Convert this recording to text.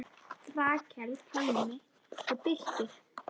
Rakel, Pálmi og Birkir.